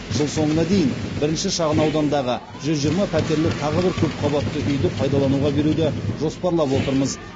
жыл соңына дейін бірінші шағын аудандағы жүз жиырма пәтерлі тағы бір көпқабатты үйді пайдалануға беруді жоспарлап отырмыз